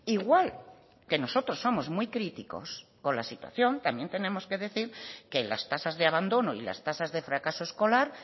igual que nosotros somos muy críticos con la situación también tenemos que decir que las tasas de abandono y las tasas de fracaso escolar